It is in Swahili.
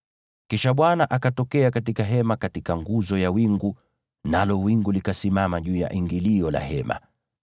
Kisha Bwana akatokea katika Hema katika nguzo ya wingu, nalo wingu likasimama juu ya ingilio la Hema.